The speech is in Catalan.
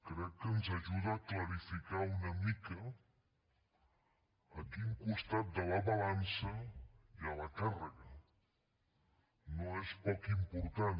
crec que ens ajuda a clarificar una mica a quin costat de la balança hi ha la càrrega no és poc important